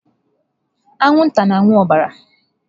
Anwụnta na-aṅụ ọbara.